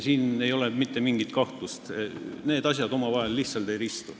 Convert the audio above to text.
Siin ei ole mitte mingit kahtlust, need asjad omavahel lihtsalt ei ristu.